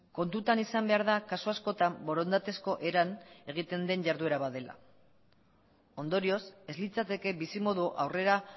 kontutan izan behar da kasu askotan borondatezko eran egiten den jarduera bat dela ondorioz ez litzateke bizimodua aurrera